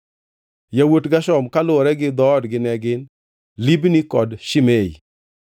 Yawuot Gershon kaluwore gi dhoodgi ne gin: Libni kod Shimei.